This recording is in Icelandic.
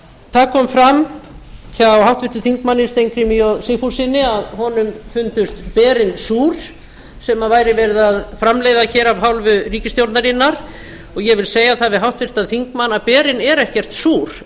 það kom fram hjá háttvirtum þingmönnum steingrími j sigfússyni að honum fundust berin súr sem verið var að framleiða af hálfu ríkisstjórnarinnar og ég vil segja það við háttvirtan þingmann að berin eru ekkert súr